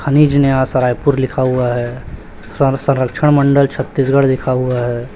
खनिज न्यास रायपुर लिखा हुआ है सर संरक्षण मंडल छत्तीसगढ़ लिखा हुआ है।